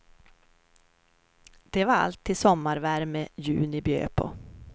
Det var allt till sommarvärme juni bjöd på.